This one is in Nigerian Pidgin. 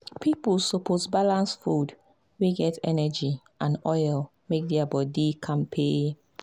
people suppose balance food wey get energy and oil make their body dey kampe.